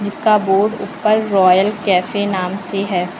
इसका बोर्ड ऊपर Royal Cafe नाम से है।